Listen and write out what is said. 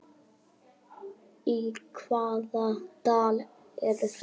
Í hvaða dal eru þeir?